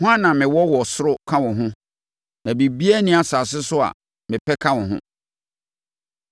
Hwan na mewɔ wɔ soro ka wo ho? Na biribiara nni asase so a mepɛ ka wo ho.